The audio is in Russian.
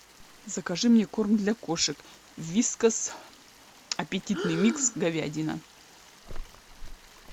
закажи мне корм для кошек вискас аппетитный микс говядина